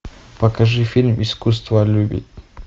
покажи фильм искусство любить